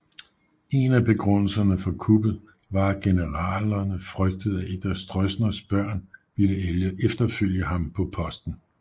En af begrundelserne for kuppet var at generalerne frygtede at et af Stroessners børn ville efterfølge ham på posten